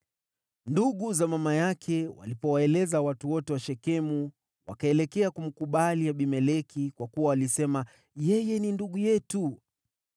Ndugu za mama yake walipowaeleza watu wote wa Shekemu, wakaelekea kumkubali Abimeleki, kwa kuwa walisema, “Yeye ni ndugu yetu.”